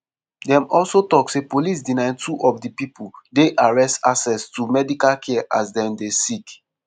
dem also tok say police deny two of di pipo dey arrest access to medical care as dem dey sick.